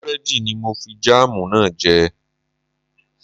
Búrẹ́dì ni mo fi jáàmù náà jẹ